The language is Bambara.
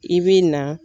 I bi na